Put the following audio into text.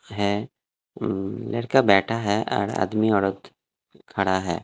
हैं उम लड़का बैठा है और आदमी औरत खड़ा है।